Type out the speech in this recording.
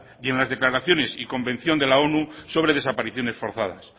y en las declaraciones y convención de la onu sobre desapariciones forzadas